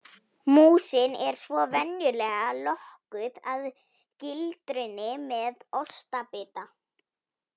Músin er svo venjulega lokkuð að gildrunni með ostbita.